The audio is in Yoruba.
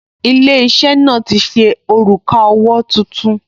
Ilé-iṣẹ́ náà ti ṣe òrùka owó tuntun